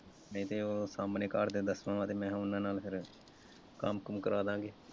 ਨਹੀਂ ਤੇ ਉਹ ਸਾਹਮਣੇ ਘਰਦੇ ਦੱਸਵਾਂ ਵਾ ਮੈਂਂ ਕਿਹਾ ਉਹਨਾਂ ਨਾਲ ਫਿਰ ਕੰਮ ਕੁਮ ਕਰਾਦਾਂਗੇ।